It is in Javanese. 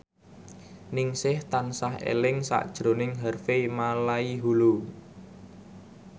Ningsih tansah eling sakjroning Harvey Malaiholo